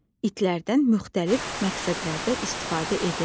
İtlərdən müxtəlif məqsədlərdə istifadə edirlər.